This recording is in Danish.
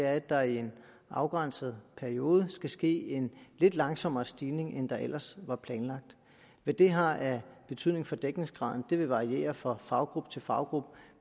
at der i en afgrænset periode skal ske en lidt langsommere stigning end der ellers var planlagt hvad det har af betydning for dækningsgraden vil variere fra faggruppe til faggruppe